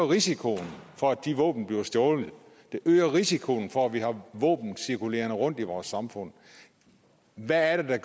risikoen for at de våben bliver stjålet det øger risikoen for at vi har våben cirkulerende rundt i vores samfund hvad er det